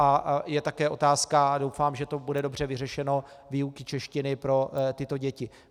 A je také otázka, doufám, že to bude dobře vyřešeno, výuky češtiny pro tyto děti.